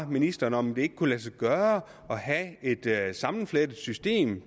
ministeren om det ikke kunne lade sig gøre at have et sammenflettet system